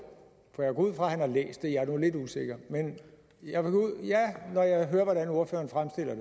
for jeg går ud fra at han har læst jeg er nu lidt usikker når jeg hører hvordan ordføreren fremstiller